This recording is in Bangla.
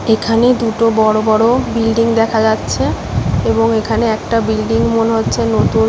এখানে দুটো বড় বড় বিল্ডিং দেখা যাচ্ছে এবং এখানে একটা বিল্ডিং মনে হচ্ছে নতুন ।